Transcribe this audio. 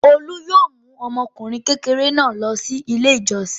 Olu yóò mú ọmọkùnrin kékeré náà lọ Ilé-ìjọsìn.